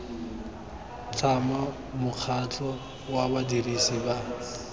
tlhama mokgatlho wa badirisi ba